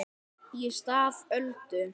Í stað Öldu